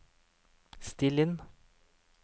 still inn